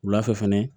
Wula fɛ fɛnɛ